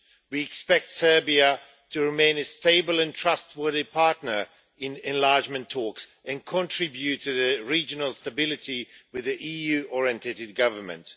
We expect Serbia to remain a stable and trustworthy partner in enlargement talks and contribute to regional stability with an EU-oriented government.